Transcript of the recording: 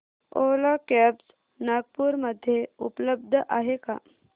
ओला cabs Nagpur मध्ये उपलब्ध आहे का